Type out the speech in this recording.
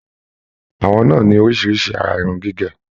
Àwọn náà ní oríṣiríṣi àrà irun gígé.